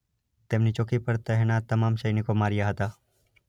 તેમની ચોકી પર તહેનાત તમામ સૈનિકો માર્યા હતા.